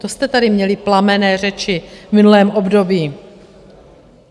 To jste tady měli plamenné řeči v minulém období.